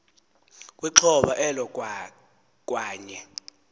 kwixhoba elo kwaye